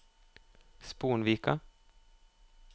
Sponvika